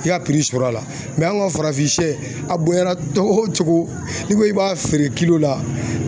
I ka sɔrɔ a la an ka farafin sɛ a bonya na cogo o cogo n'i ko k'i b'a feere la